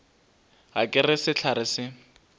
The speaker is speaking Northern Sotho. ga ke re sehlare se